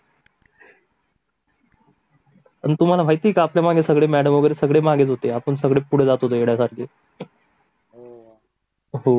अं तुम्हाला माहित ये का मॅडम सर वगैरे सगळे आपल्या मागे होते सर्व आणि आपण सगळे पुढे जात होते वेड्यासारखे